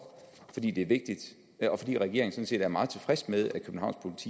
fordi det er vigtigt og fordi regeringen sådan set er meget tilfreds med at københavns